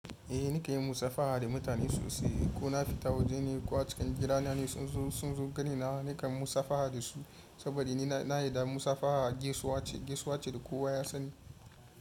Eh, nakan yi musafaha da mutane sosai. Ko na fita waje ne ko a cikin gidana ne sun zo gani na nakan musafaha da su saboda ni na yi da musafaha gaisuwa ce da kowa ya sani.